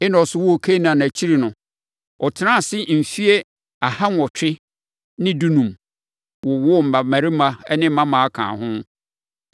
Enos woo Kenan akyiri no, ɔtenaa ase mfeɛ aha nwɔtwe ne dunum, wowoo mmammarima ne mmammaa kaa ho.